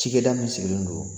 Cikɛda min sigilen don